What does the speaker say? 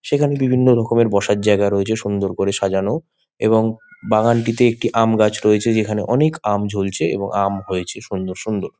সেখানে বিভিন্ন রকমের বসার জায়গা রয়েছে সুন্দর করে সাজানো। এবং বাগানটিতে একটি গাছ আমগাছ রয়েছে। যেখানে অনেক আম ঝুলছে। এবং আম হয়েছে সুন্দর সুন্দর।